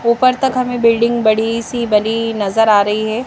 ऊपर तक हमें बिल्डिंग बड़ी सी बड़ी नजर आ रही है।